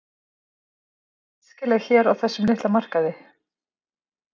En er hún æskileg hér á þessum litla markaði?